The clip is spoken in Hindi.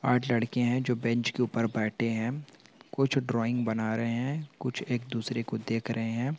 आठ लड़कियाँ हैं जो बेंच के ऊपर बैठें हैं कुछ ड्राइंग बना रहे हैं कुछ एक - दूसरे को देख रहे हैं।